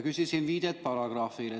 Küsisin viidet paragrahvile.